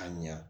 A ɲa